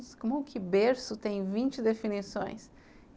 Nossa, como que berço tem vinte definições?